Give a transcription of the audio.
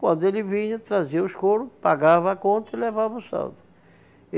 Quando ele vinha, trazia os couro, pagava a conta e levava o saldo.